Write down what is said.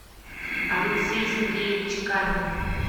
алексей сергеевич камин